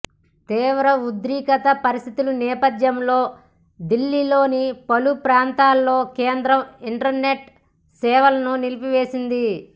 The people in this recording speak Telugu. తీవ్ర ఉద్రిక్త పరిస్థితుల నేపథ్యంలో దిల్లీలోని పలు ప్రాంతాల్లో కేంద్రం ఇంటర్నెట్ సేవలను నిలిపివేసింది